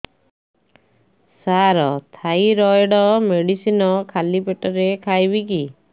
ସାର thyroid medicine ଖାଲି ପେଟରେ ଖାଇବି କି